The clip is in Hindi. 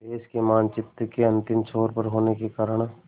देश के मानचित्र के अंतिम छोर पर होने के कारण